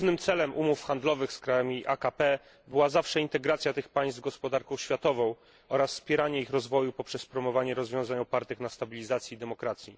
Głównym celem umów handlowych z krajami AKP była zawsze integracja tych państw z gospodarką światową oraz wspieranie ich rozwoju poprzez promowanie rozwiązań opartych na stabilizacji i demokracji.